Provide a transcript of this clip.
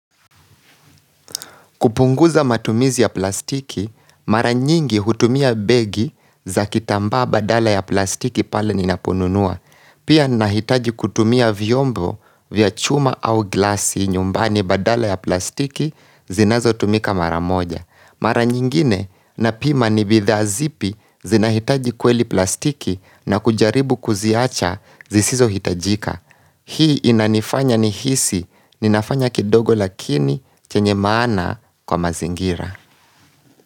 Kupunguza matumizi ya plastiki, mara nyingi hutumia begi za kitambaa badala ya plastiki pale ninapununua. Pia ninahitaji kutumia vyombo vya chuma au glaass nyumbani badala ya plastiki zinazo tumika mara moja. Mara nyingine na pima nibidhaa zipi zinahitaji kweli plastiki na kujaribu kuziacha zisizo hitajika. Hii inanifanya nihisi, ninafanya kidogo lakini chenye maana kwa mazingira.